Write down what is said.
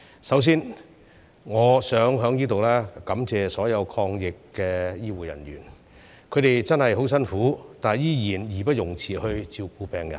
首先，我想在此感謝所有抗疫的醫護人員，他們真的十分辛苦，但仍義不容辭照顧病人。